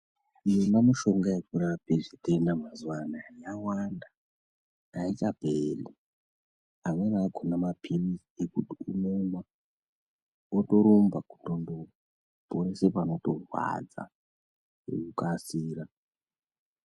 Yona mishonga yekurapa matenda mazuva ano yawanda aichaperi amweni akona mapirizi unomwa wotorumba kutondoporesa panorwadza nekukasira.